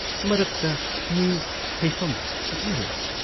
ꯃꯔꯛꯇ ꯃꯤ ꯊꯩꯐꯝ ꯐꯖꯅ ꯂꯩ